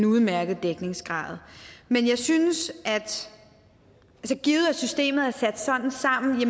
udmærket dækningsgrad men jeg synes givet at systemet er sat sådan sammen at